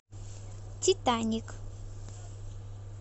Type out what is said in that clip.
титаник